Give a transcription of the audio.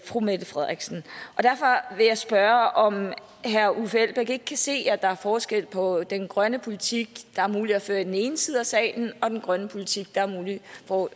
fru mette frederiksen derfor vil jeg spørge om herre uffe elbæk ikke kan se at der er forskel på den grønne politik der er mulig at føre i den ene side af salen og den grønne politik der er mulig